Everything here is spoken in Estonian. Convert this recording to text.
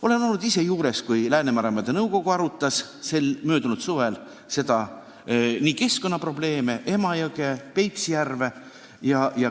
Olin ise juures, kui Läänemeremaade Nõukogu arutas möödunud suvel keskkonnaprobleeme, Emajõe ja Peipsi järve probleeme.